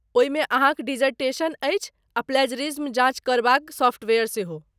ओहिमे अहाँक डिसर्टेशन अछि आ प्लेजरिज्म जाँच करबाक सॉफ्टवेयर सेहो।